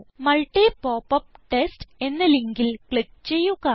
multi popup test എന്ന ലിങ്കിൽ click ചെയ്യുക